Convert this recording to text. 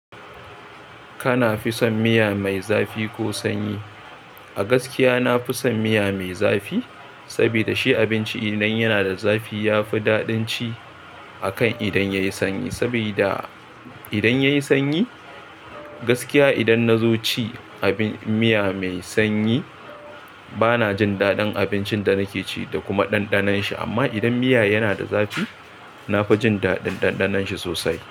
Kana fi son miya mai zafi ko sanyi? A gaskiya, na fi son miya mai zafi. Saboda shi abinci idan yana da zafi ya fi daɗin ci, akan idan yayi sanyi. Saboda idan yayi sanyi, gaskiya idan na zo ci abin miya mai sanyi bana jin daɗin abincin da nake ci da kuma ɗanɗanon shi. Amma idan miya yana da zafi, na fi jin daɗin ɗanɗanon shi sosai.